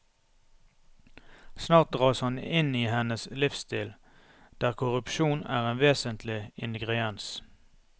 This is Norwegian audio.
Snart dras han inn i hennes livsstil, der korrupsjon er en vesentlig ingrediens.